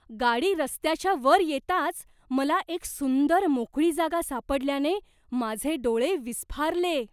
गाडी रस्त्याच्या वर येताच, मला एक सुंदर मोकळी जागा सापडल्याने माझे डोळे विस्फारले.